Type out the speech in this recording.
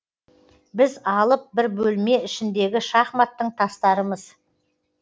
біз алып бір бөлме ішіндегі шахматтың тастарымыз